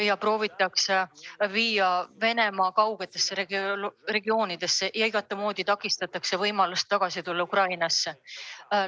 Nad viiakse Venemaa kaugetesse regioonidesse ja igatmoodi takistatakse neid tagasi Ukrainasse tulemast.